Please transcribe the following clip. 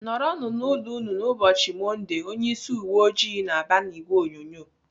"Nọrọ nụ n'ụlọ unu n'ubochi mondee!" Onye ịsị uwe ojii na-aba n'ìgwè onyonyo.